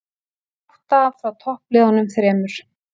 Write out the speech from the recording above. Átta frá toppliðunum þremur